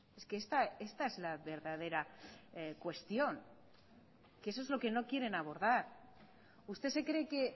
es que esta es la verdadera cuestión que eso es lo que no quieren abordar usted se cree que